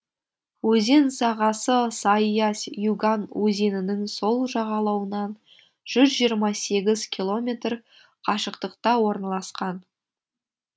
өзен сағасы сайыась юган өзенінің сол жағалауынан жүз жиырма сегіз километр қашықтықта орналасқан